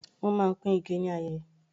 Wọ́n máa ń pín ike ni ayeye.